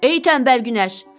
Ey tənbəl günəş!